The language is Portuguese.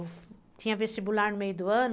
Eu tinha vestibular no meio do ano.